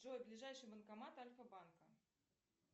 джой ближайший банкомат альфа банка